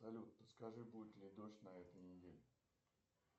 салют подскажи будет ли дождь на этой неделе